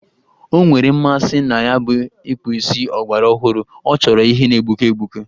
O nwere mmasị na ya bụ ịkpụ isi ọgbarọhụrụ, ọ chọrọ ihe na-egbuke egbuke